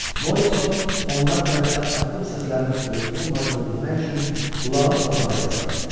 Morissot onlar tərəfdə addım səslərinin olub-olmadığını bilmək üçün qulağını torpağa yasladı.